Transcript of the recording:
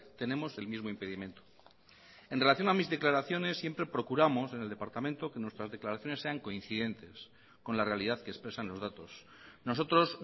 tenemos el mismo impedimento en relación a mis declaraciones siempre procuramos en el departamento que nuestras declaraciones sean coincidentes con la realidad que expresan los datos nosotros